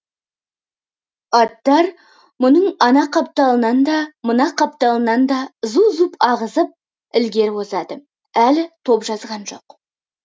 аттар мұның ана қапталынан да мына қапталынан да зу зу ағызып ілгері озады әлі топ жазған жоқ